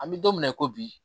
An bɛ don min na i ko bi